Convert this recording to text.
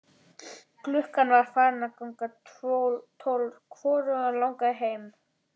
Klukkan var farin að ganga tólf og hvorugan langaði heim.